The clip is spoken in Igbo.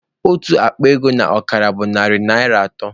Otu akpa ego na ọkara bụ narị naịra atọ